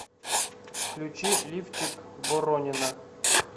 включи лифчик боронина